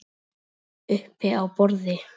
Uppi á borði?